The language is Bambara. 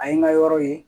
A ye n ka yɔrɔ ye